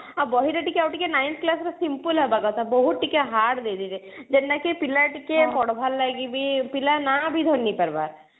ଆଉ ବହିରେ ଟିକେ ଆଉ ଟିକେ nine class ର simple ହବ କଥା ବହୁତ ଟିକେ hard ଦେଇଦେଇଛି ଯେନ୍ତା କି ପିଲା ଟିକେ ପଢବାର ଲାଗି ବି ପିଲା ନାଁ ବି ଧର ନେଇପାରବା